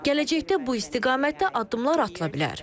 Gələcəkdə bu istiqamətdə addımlar atıla bilər.